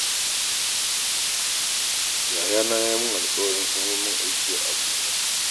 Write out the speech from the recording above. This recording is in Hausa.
Yayana ya yi min alƙawarin samar min aiki a Abuja